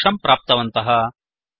इति दोषं प्राप्तवन्तः